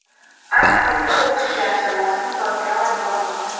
Ayni paytda bokschilar jamoasi muzokara olib bormoqda.